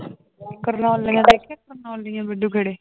ਕਰਨੋਲੀਆਂ ਦੇਖੀਆਂ ਕਰਨੋਲੀਆਂ